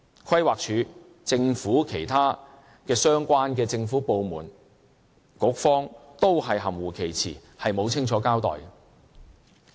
規劃署、其他相關的政府部門和局方都含糊其辭，沒有清楚交代。